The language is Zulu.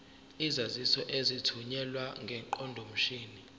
izaziso ezithunyelwe ngeqondomshini